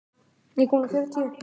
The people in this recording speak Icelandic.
Hér eru mörg þúsund manns.